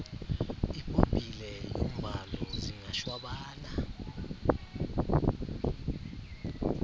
ibhobhile yomvalo zingashwabana